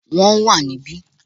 Wọ́n wà níbí